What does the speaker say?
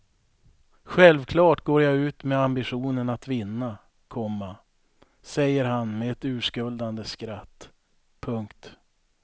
Självklart går jag ut med ambitionen att vinna, komma säger han med ett urskuldande skratt. punkt